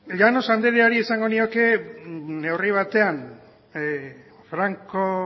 llanos andreari esango nioke neurri batean franco